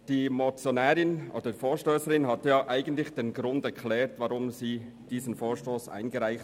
Die Motionärin hat den Grund für die Einreichung ihres Vorstosses erklärt.